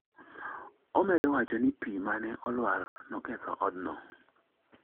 omedo wacho ni pi ma ne olwar noketho odno